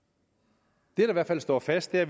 det der i hvert fald står fast er